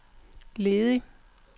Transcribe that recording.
ledig